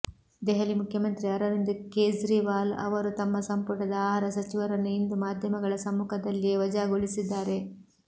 ದೆಹಲಿ ಮುಖ್ಯಮಂತ್ರಿ ಅರವಿಂದ್ ಕೇಜ್ರಿವಾಲ್ ಅವರು ತಮ್ಮ ಸಂಪುಟದ ಆಹಾರ ಸಚಿವರನ್ನು ಇಂದು ಮಾಧ್ಯಮಗಳ ಸಮ್ಮುಖದಲ್ಲಿಯೇ ವಜಾಗೊಳಿಸಿದ್ದಾರೆ